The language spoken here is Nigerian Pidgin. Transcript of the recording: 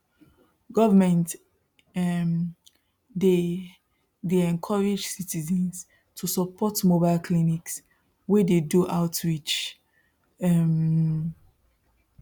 government um dey dey encourage citizens to support mobile clinics wey dey do outreach um